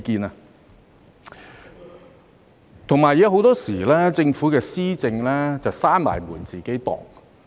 另外，政府的施政很多時候是"閉門自擬"。